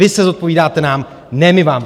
Vy se zodpovídáte nám, ne my vám.